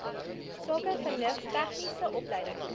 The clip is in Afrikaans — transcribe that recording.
sakevernuf tegniese opleiding